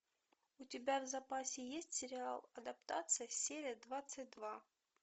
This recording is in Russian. у тебя в запасе есть сериал адаптация серия двадцать два